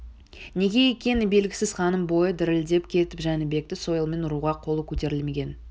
неге екені белгісіз ханның бойы дірілдеп кетіп жәнібекті сойылмен ұруға қолы көтерілмеген